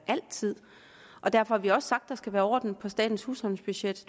altid og derfor har vi også sagt at der skal være orden i statens husholdningsbudget